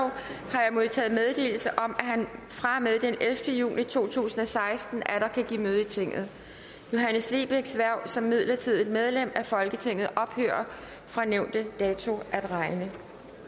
har jeg modtaget meddelelse om at han fra og med den ellevte juni to tusind og seksten atter kan give møde i tinget johannes lebechs hverv som midlertidigt medlem af folketinget ophører fra nævnte dato at regne